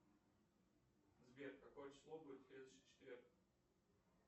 сбер какое число будет в следующий четверг